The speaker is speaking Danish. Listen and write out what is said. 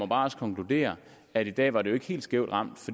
bare konkludere at i dag var det ikke helt skævt ramt